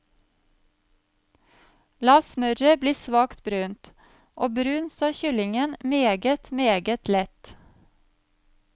La smøret bli svakt brunt og brun så kyllingen meget, meget lett.